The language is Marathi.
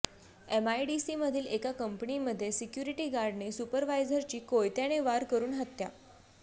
एमआयडीसीमधील एका कंपनीमध्ये सिक्युरिटीगार्डने सुपरवायझरची कोयत्याने वार करून हत्या